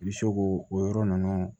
I bɛ se k'o o yɔrɔ ninnu